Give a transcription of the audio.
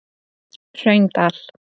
Hraundal